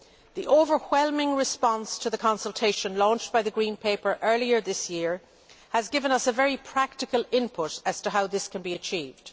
The overwhelming response to the consultation launched by the Green Paper earlier this year has given us a very practical input as to how this can be achieved.